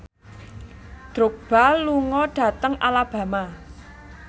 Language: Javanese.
Drogba lunga dhateng Alabama